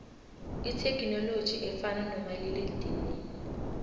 ithekhininoloji efana nomalila edinini